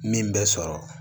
Min bɛ sɔrɔ